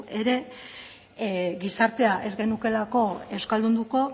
ere gizarte ez genukeelako euskaldunduko